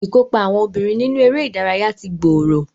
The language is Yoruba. Ìkópa àwọn obìnrin nínú eré ìdárayá ti gbòòrò